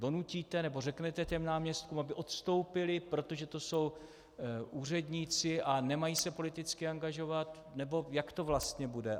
Donutíte nebo řekněte těm náměstkům, aby odstoupili, protože to jsou úředníci, a nemají se politicky angažovat, nebo jak to vlastně bude?